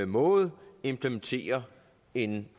måde implementerer en